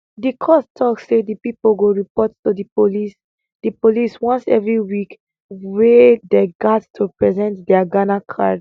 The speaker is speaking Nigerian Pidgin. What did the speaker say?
di court tok say di pipo go report to di police di police once every week wia dey gat to present dia ghana card